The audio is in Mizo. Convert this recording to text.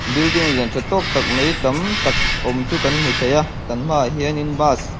building lian tha tawk tak mai tam tak awm chu kan hmu thei a kan hmaah hian in bus --